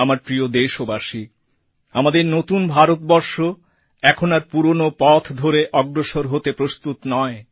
আমার প্রিয় দেশবাসী আমাদের নতুন ভারতবর্ষ এখন আর পুরনো পথ ধরে অগ্রসর হতে প্রস্তুত নয়